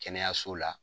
Kɛnɛyaso la